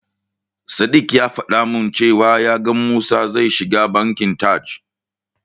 Sadiq ya faɗa min cewa ya ga Musa zai shiga Bankin Taj.